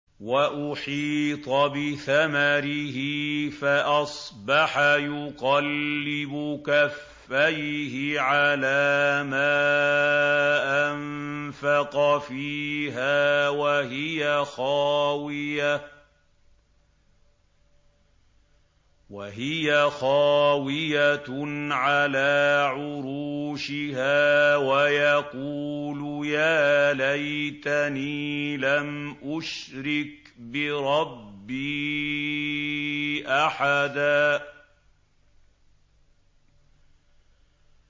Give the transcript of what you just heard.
وَأُحِيطَ بِثَمَرِهِ فَأَصْبَحَ يُقَلِّبُ كَفَّيْهِ عَلَىٰ مَا أَنفَقَ فِيهَا وَهِيَ خَاوِيَةٌ عَلَىٰ عُرُوشِهَا وَيَقُولُ يَا لَيْتَنِي لَمْ أُشْرِكْ بِرَبِّي أَحَدًا